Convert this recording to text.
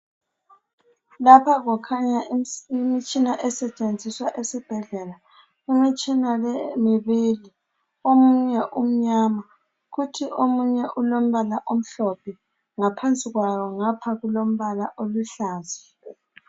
Lapha kukhanya imitshina esetshenziswa esibhedlela. Imitshina le mibili .Omunye umnyama kuthi omunye ulombala omhlophe. Ngaphansi kwawo ngapha kulombala oluhlaza.